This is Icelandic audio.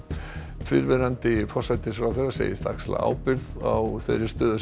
fyrrverandi forsætisráðherra segist axla ábyrgð á þeirri stöðu sem